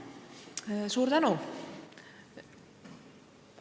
Suur tänu!